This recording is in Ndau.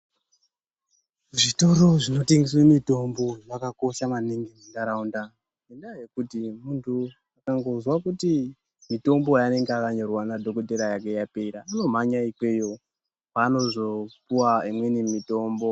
Zvitoro zvinotengesa mitombo zvakakosha maningi munharaunda ngendaa yekuti muntu akangozwa kuti mitombo yaanenge akanyorerwa nadhokodheya yapera unomhanya ikweyo kwaanozopuwa imweni mitombo.